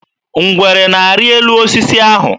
Ngwere na-arị elu osisi ahụ.